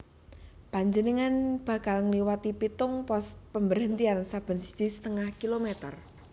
Panjenengan bakal ngliwati pitung pos pemberhentian saben siji setengah kilometer